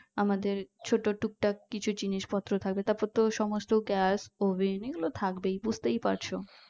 আমাদের ছোট টুকটাক কিছু জিনিস পত্র থাকবে তারপর তো সমস্ত gas oven এগুলো থাকবেই বুঝতেই পারছো